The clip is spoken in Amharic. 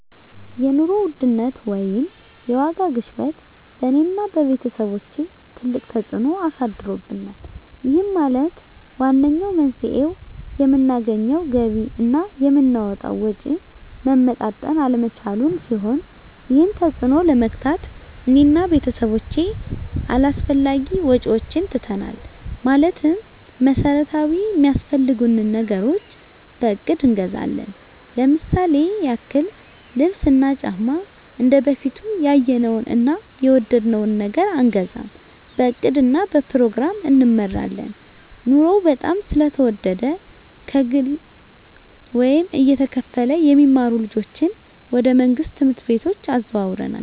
የኑሮ ውድነት ወይም የዋጋ ግሽበት በእኔ እና በቤተሰቦቸ ትልቅ ተፅእኖ አሳድሮብናል ይህም ማለት ዋነኛው መንስኤው የምናገኘው ገቢ እና የምናወጣው ወጪ መመጣጠን አለመቻሉን ሲሆን ይህንን ተፅዕኖ ለመግታት እኔ እና ቤተሰቦቸ አላስፈላጊ ወጪዎችን ትተናል ማለትም መሠረታዊ ሚያስፈልጉንን ነገሮች በእቅድ እንገዛለን ለምሳሌ ያክል ልብስ እና ጫማ እንደበፊቱ ያየነውን እና የወደድነውን ነገር አንገዛም በእቅድ እና በፕሮግራም እንመራለን ኑሮው በጣም ስለተወደደ ከግለ ወይም እየተከፈለ የሚማሩ ልጆችን ወደ መንግሥት ትምህርት ቤቶች አዘዋውረናል